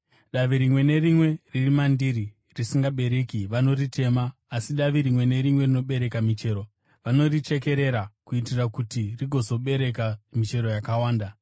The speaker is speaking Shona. Davi rimwe nerimwe riri mandiri risingabereki vanoritema, asi davi rimwe nerimwe rinobereka michero vanorichekerera kuitira kuti rigozobereka michero yakawanda.